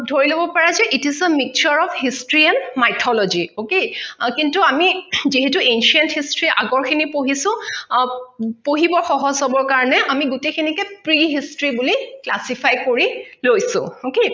ধৰি লব পাৰা যে it is the mixture of history and mythology okay আহ কিন্তু আমি যিহেতো ancient history আগৰ খিনি পঢ়িছো আহ পঢ়িবৰ সহজ হবৰ কাৰনে আমি গোটেই খিনিকে pre history বুলি classify কৰি লৈছো okay